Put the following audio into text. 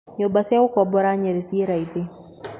Nyũmba cia gũkombora Nyeri ci raithi.